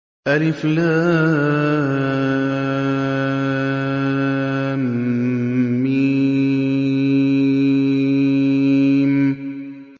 الم